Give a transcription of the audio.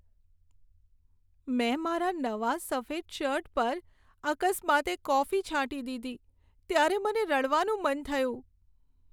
મેં મારા નવા સફેદ શર્ટ પર અકસ્માતે કોફી છાંટી દીધી, ત્યારે મને રડવાનું મન થયું.